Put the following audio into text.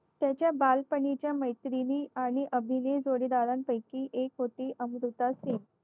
त्याच्या बालपणीच्या मैत्रिणी आणि अभिनय जोडीदारांपैकी एक होती अमृता सिंग